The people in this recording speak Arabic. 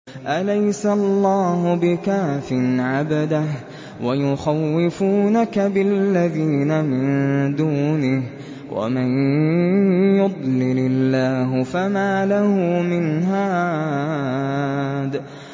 أَلَيْسَ اللَّهُ بِكَافٍ عَبْدَهُ ۖ وَيُخَوِّفُونَكَ بِالَّذِينَ مِن دُونِهِ ۚ وَمَن يُضْلِلِ اللَّهُ فَمَا لَهُ مِنْ هَادٍ